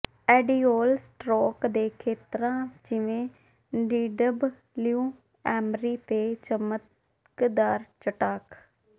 ਐਡਿਊਲ stroke ਦੇ ਖੇਤਰਾਂ ਜਿਵੇਂ ਡੀਡਬਲਯੂ ਐਮ੍ਰੀ ਤੇ ਚਮਕਦਾਰ ਚਟਾਕ